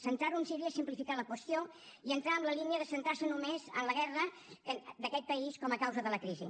centrar ho en síria és simplificar la qüestió i entrar en la línia de centrar se només en la guerra d’aquest país com a causa de la crisi